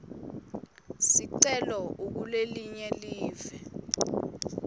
sicelo ukulelinye live